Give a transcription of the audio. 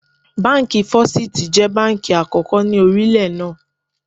Báńkì Fọ́sítì jẹ́ báńkì àkókò ni orílẹ̀ náà.